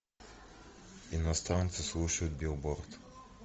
иностранцы слушают билборд